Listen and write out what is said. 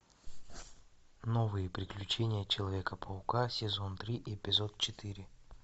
новые приключения человека паука сезон три эпизод четыре